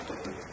Nə qədər?